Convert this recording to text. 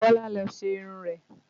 Bọlá lọ ṣe irun rẹ̀